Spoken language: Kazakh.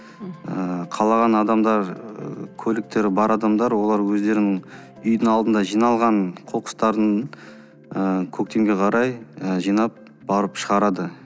ыыы қалаған адамдар көліктері бар адамдар олар өздерінің үйдің алдында жиналған қоқыстарын ы көктемге қарай ы жинап барып шығарады